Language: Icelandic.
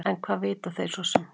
En hvað vita þeir svo sem.